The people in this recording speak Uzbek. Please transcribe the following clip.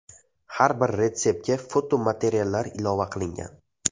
Har bir retseptga fotomateriallar ilova qilingan.